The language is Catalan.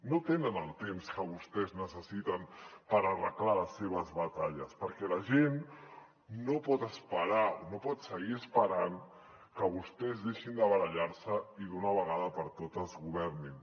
no tenen el temps que vostès necessiten per arreglar les seves batalles perquè la gent no pot esperar o no pot seguir esperant que vostès deixin de barallar se i d’una vegada per totes governin